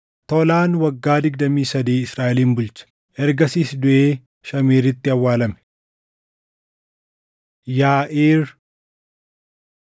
Tolaan waggaa digdamii sadii Israaʼelin bulche; ergasiis duʼee Shaamiiritti awwaalame. Yaaʼiir